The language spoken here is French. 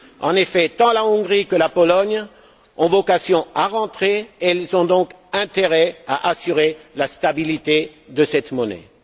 En effet, tant la Hongrie que la Pologne ont vocation à y entrer. Elles ont donc intérêt à assurer la stabilité de cette monnaie.